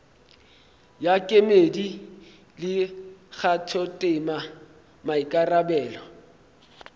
ya kemedi le kgathotema maikarabelo